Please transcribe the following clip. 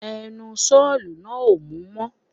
Ẹnu sọ́ọ̀ náà ò mú mọ̀